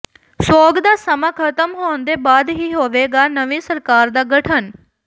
ਸੋਗ ਦਾ ਸਮਾਂ ਖ਼ਤਮ ਹੋਣ ਦੇ ਬਾਅਦ ਹੀ ਹੋਵੇਗਾ ਨਵੀਂ ਸਰਕਾਰ ਦਾ ਗਠਨ